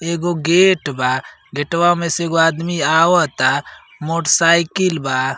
एगो गेट बा गेटवा में से एगो आदमी आवता। मोट्साईकील बा।